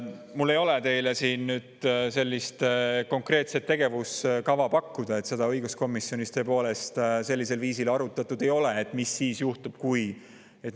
Mul ei ole teile sellist konkreetset tegevuskava pakkuda, seda õiguskomisjonis tõepoolest sellisel viisil arutatud ei ole, et mis siis juhtub, kui …